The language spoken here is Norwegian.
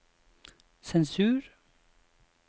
sensur